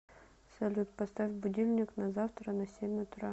салют поставь будильник на завтра на семь утра